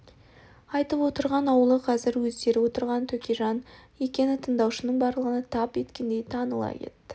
айтып отырған аулы қазір өздері отырған төкежан аулы екені тыңдаушының барлығына тап еткендей таныла кетті